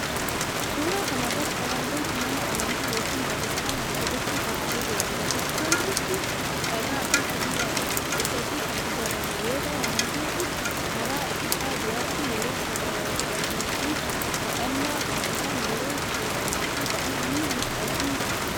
Suuraa kana irratti kan argamu mana amantaa yookiin Bataskaana Ortodoksii Tewaahidooti. Bataskaanichi dhagaafi sibiilaan guddatee kan ijaarame yoo ta'u, amantoonni karra isaa duratti yeroo sagadaniifi kadhannaa taasisan, yeroo seenaniifi ba'an ni mul'ata.